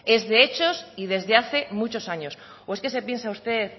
es de hechos y desde hace muchos años o es que se piensa usted